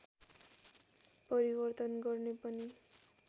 परिवर्तन गर्ने पनि